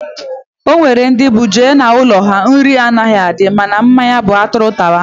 Enwere ndị bụ ị jee n'ụlọ ha, nri anaghị adị mana mmanya bụ atụrụ tawa